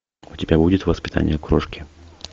у тебя будет воспитание крошки